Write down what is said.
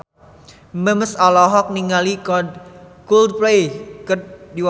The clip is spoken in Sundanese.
Memes olohok ningali Coldplay keur diwawancara